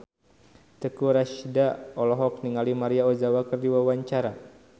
Teuku Rassya olohok ningali Maria Ozawa keur diwawancara